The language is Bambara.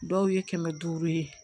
Dɔw ye kɛmɛ duuru ye